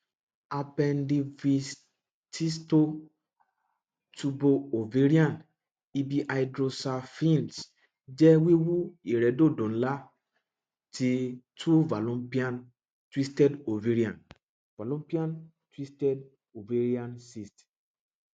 appendivitisto tubooavarian ibihydrosalpinx jẹ wiwu iredodo nla ti tube fallopian twisted ovarian fallopian twisted ovarian cyst